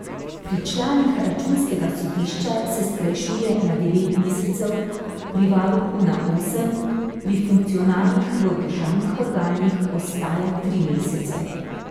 Pri članih računskega sodišča se skrajšuje na devet mesecev, pri varuhu na osem, pri funkcionarjih v državnih organih ostaja tri mesece.